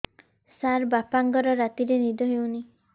ସାର ବାପାଙ୍କର ରାତିରେ ନିଦ ହଉନି